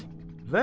Əvət, ver.